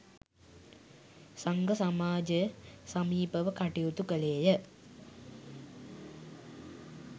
සංඝ සමාජය සමීපව කටයුතු කළේ ය.